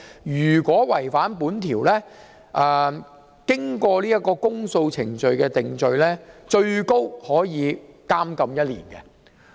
"如違反這項條文，經循公訴程序定罪，最高刑罰為監禁1年。